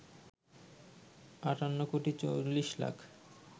৫৮ কোটি ৪০ লাখ